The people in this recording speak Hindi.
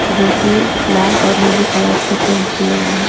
जो की लाल और नीले कलर से पेंट किए गए हैं।